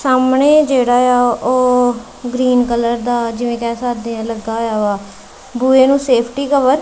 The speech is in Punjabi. ਸਾਹਮਣੇ ਜਿਹੜਾ ਆ ਓਹ ਗ੍ਰੀਨ ਕਲਰ ਦਾ ਜਿਵੇਂ ਕਹਿ ਸਕਦੇ ਹਾਂ ਲੱਗਾ ਹੋਇਆ ਵਾਹ ਬੂਹੇ ਨੂੰ ਸੇਫਟੀ ਕਵਰ --